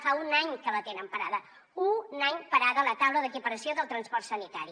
fa un any que la tenen parada un any parada la taula d’equiparació del transport sanitari